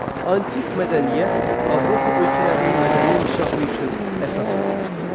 Antik mədəniyyət Avropa ölkələrinin mədəni inkişafı üçün əsas olmuşdu.